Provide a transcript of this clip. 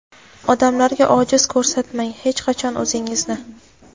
Odamlarga ojiz ko‘rsatmang hech qachon o‘zingizni.